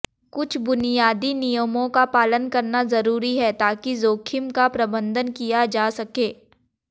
कुछ बुनियादी नियमों का पालन करना जरूरी है ताकि जोखिम का प्रबंधन किया जा सके